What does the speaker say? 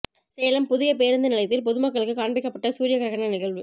சேலம் புதிய பேருந்து நிலையத்தில் பொதுமக்களுக்கு காண்பிக்கப்பட்ட சூரிய கிரகண நிகழ்வு